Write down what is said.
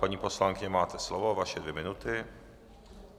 Paní poslankyně, máte slovo, vaše dvě minuty.